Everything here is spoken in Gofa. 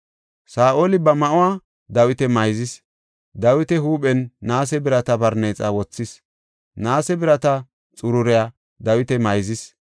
Saa7oli ba ma7uwa Dawita mayzis; Dawita huuphen naase birata barneexa wothis; naase birata xururiya Dawita mayzis.